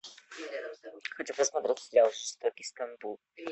хочу посмотреть сериал жестокий стамбул